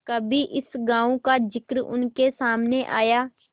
कभी इस गॉँव का जिक्र उनके सामने आया